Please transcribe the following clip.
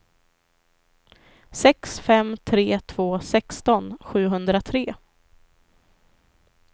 sex fem tre två sexton sjuhundratre